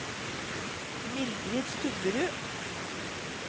Mildrid Stubberud